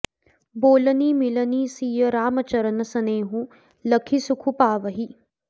बोलनि मिलनि सिय राम चरन सनेहु लखि सुखु पावहीं